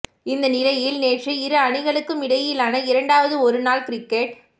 இந்த நிலையில் நேற்று இரு அணிகளுக்கும் இடையிலான இரண்டாவது ஒருநாள் கிரிக்கெட்